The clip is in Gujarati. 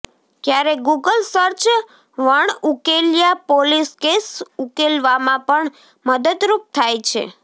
ક્યારેક ગુગલ સર્ચ વણઉકેલ્યા પોલીસ કેસ ઉકેલવામાં પણ મદદરૂપ થાય છે